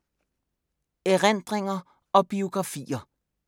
Erindringer og biografier